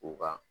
U ka